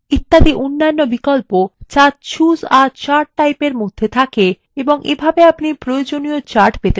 এবং অনেক অন্যান্য বিকল্প যা choose a chart typeএর মধ্যে থাকে এবং প্রয়োজনীয় chart পেতে পারেন